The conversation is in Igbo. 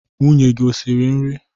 Nwunye gị esiri nri?